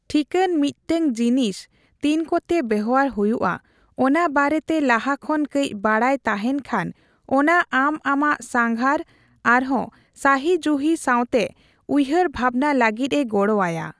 ᱴᱷᱤᱠᱟᱹᱱ ᱢᱤᱫᱴᱟᱝ ᱡᱤᱱᱤᱥ ᱛᱤᱱᱚᱠᱛᱮ ᱵᱮᱣᱦᱟᱨ ᱦᱩᱭᱩᱜᱼᱟ, ᱚᱱᱟ ᱵᱟᱨᱮᱛᱮ ᱞᱟᱦᱟ ᱠᱷᱚᱱ ᱠᱟᱹᱪ ᱵᱟᱰᱟᱭ ᱛᱟᱦᱮᱸᱱ ᱠᱷᱟᱱ, ᱚᱱᱟ ᱟᱢ ᱟᱢᱟᱜ ᱥᱟᱸᱜᱷᱟᱨ ᱟᱨᱦᱚᱸ ᱥᱟᱹᱦᱤᱡᱩᱦᱤ ᱥᱟᱣᱛᱮ ᱦᱭᱦᱟᱹᱨ ᱵᱷᱟᱵᱱᱟ ᱞᱟᱹᱜᱤᱫ ᱮ ᱜᱚᱲᱚ ᱟᱭᱟ ᱾